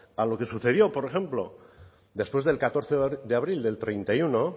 a lo que sucedió por ejemplo después del catorce de abril del treinta y uno